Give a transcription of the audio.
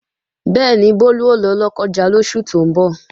Bẹ́ẹ̀ni, Bólú ó lọ Lọ́kọ́ja lóṣù tó ń bọ̀